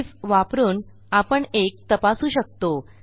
if वापरून आपण एक तपासू शकतो